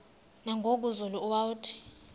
nangoku zulu uauthi